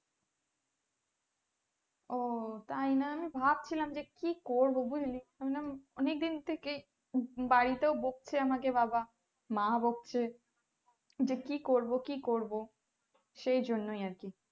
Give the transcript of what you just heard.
ওঃ তাই না আমি ভাবছিলাম যে কি করবো বুজলি হম অনেক দিন থেকে বাড়িতেও বকছে আমাকে বাবা মাও বোকছে যে কি করবো কি করবো সেই জন্যই আরকি